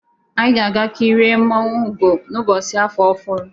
Anyị ga-aga kị rịe mmụọnwu Ụgo n'ụbọchị afọ ọhụrụ